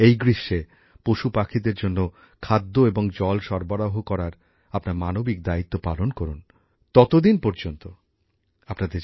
এই গ্রীষ্মে পশুপাখিদের জন্য খাদ্য এবং জল সরবরাহ করার আপনার মানবিক দায়িত্ব পালন করুন ততদিন পর্যন্ত আপনাদের জানাই অনেক অনেক ধন্যবাদ